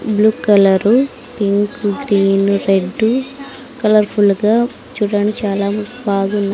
Blue colour pink green red colourful గా చుడానికి చాలా బాగుంది.